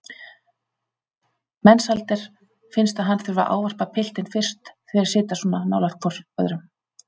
Mensalder finnst að hann þurfi að ávarpa piltinn fyrst þeir sitja svona nálægt hvor öðrum.